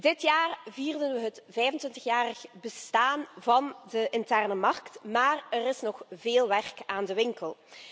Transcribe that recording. Dit jaar vierden we het 25 jarig bestaan van de interne markt, maar er is nog veel werk aan de winkel.